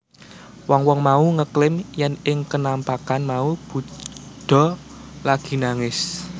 Wong wong mau ngeklaim yèn ing kenampakan mau Buddha lagi nangis